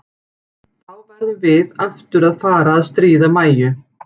Þá verðum við aftur að fara að stríða Mæju.